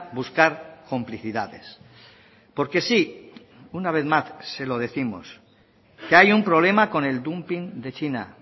buscar complicidades porque sí una vez más se lo décimos que hay un problema con el dumping de china